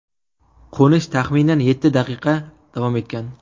Qo‘nish taxminan yetti daqiqa davom etgan.